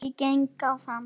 Ég kyngi galli.